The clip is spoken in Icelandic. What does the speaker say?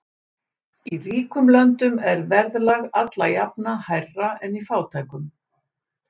Í ríkum löndum er verðlag alla jafna hærra en í fátækum.